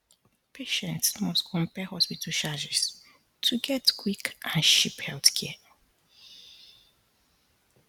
patients must compare hospital charges to get quick and cheap healthcare